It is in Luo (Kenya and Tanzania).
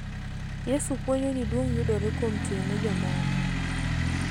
Yesu puonjo ni duong� yudore kuom tiyo ne jomoko.